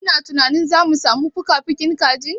Kina tunanin zamu samu fukafukin kajin?